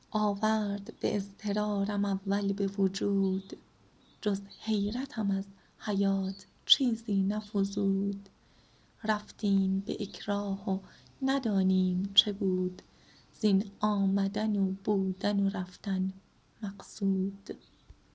آورد به اضطرارم اول به وجود جز حیرتم از حیات چیزی نفزود رفتیم به اکراه و ندانیم چه بود زین آمدن و بودن و رفتن مقصود